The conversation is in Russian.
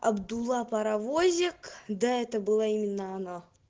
абдулла паровозик да это была именно она